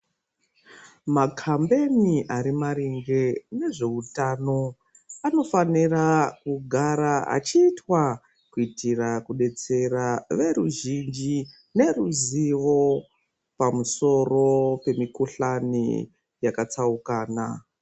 Makambeni ari maringe nezveutano anofanira kugara achiitwa kuitira kudetsera veruzhinji neruzivo pamusoro pemikuhlani yakatsaukana.